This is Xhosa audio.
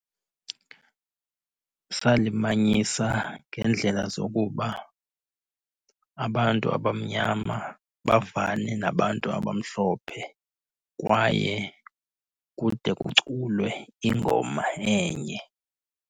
Salimanyisa ngeendlela zokuba abantu abamnyama bavane nabantu abamhlophe kwaye kude kuculwe ingoma enye.